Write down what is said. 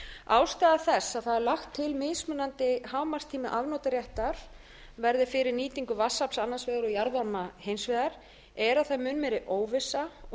ástæða þess að það er lagður til að mismunandi hámarkstími afnotaréttar verði fyrir nýtingu vatnsafls annars vegar og jarðvarma hins vegar er að það er mun meiri óvissa og